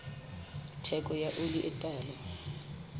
theko ya oli e tala